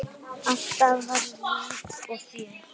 Alltaf var líf og fjör.